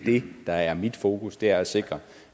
der er mit fokus er at sikre